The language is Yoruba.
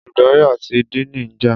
Oludari ati Diini njà